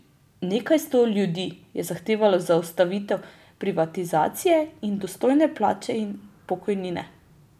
Nekaj sto ljudi je zahtevalo zaustavitev privatizacije in dostojne plače in pokojnine.